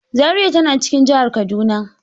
Zariya ta na cikin jahar Kaduna.